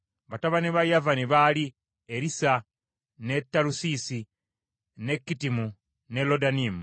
Batabani ba Yavani baali: Erisa, ne Talusiisi, ne Kittimu, ne Lodanimu.